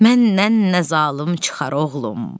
Məndən nə zalım çıxar, oğlum?